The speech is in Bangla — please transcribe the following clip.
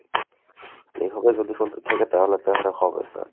এইভাবে যদি চলতে থাকে তাহলে তো আর হবে না।